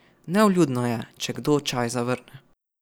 Nevljudno je, če kdo čaj zavrne.